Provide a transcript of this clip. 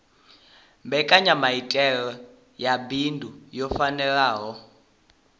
mbekanyamaitele ya bindu yo fhelelaho